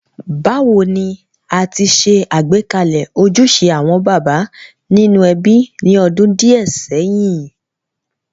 Bàwoni a ti se àgbékalẹ̀ ojúse àwon bàbá nínú ebí ni odún díẹ̀ séyìn.?